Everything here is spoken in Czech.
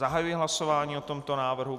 Zahajuji hlasování o tomto návrhu.